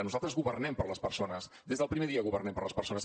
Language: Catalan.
nosaltres governem per a les persones des del primer dia governem per a les persones